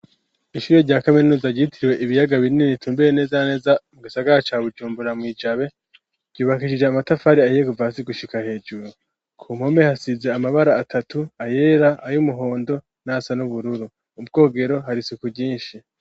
Ishure rya kaminuza gitiriwe ibiyaga binini tumbiye neza neza mu gasagara ca Bujumbura mu ijabe. Ryubakishije amatafari ahiye Kuva hasi gushika hejuru ku mpome hasize amabara atatu ayera, ay’umuhondo, n'asa n'ubururu. Ubwogero hari suku ryinshi.